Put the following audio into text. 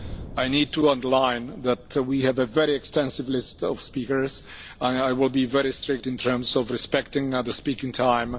I need to underline that we have a very extensive list of speakers and I will be very strict in terms of respecting the speaking time.